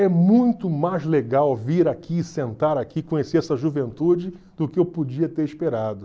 É muito mais legal vir aqui, sentar aqui, conhecer essa juventude do que eu podia ter esperado.